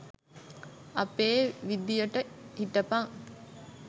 අපේ විදියට හිටපං